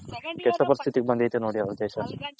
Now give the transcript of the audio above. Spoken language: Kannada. ಕೆಟ್ಟ ಪರಿಸ್ಥಿತಿ ಗ್ ಬಂದೈತ್ ನೋಡಿ ನಮ್ ದೇಶ